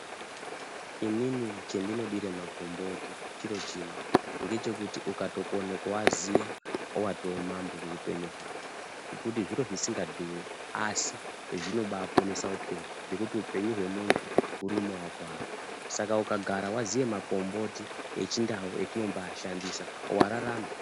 Inini chendinodire makomboti chiro chimwe, ngechekuti ukatokone kuaziva watoo mambo muupenyu hwako ngekuti zviro zvisingadhuri asi zvinobaponesa upenyu ngekuti upenyu hwemuntu huri mumaoko ake, saka ukagara waziye makomboti eChiNdau etinombashandisa wararama.